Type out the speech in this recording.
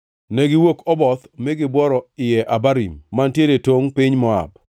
Negiwuok Oboth mi gibworo Iye Abarim, mantiere e tongʼ piny Moab.